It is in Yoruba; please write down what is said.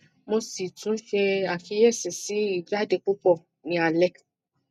mo si tun se akiyesi si ijade pupo ni ale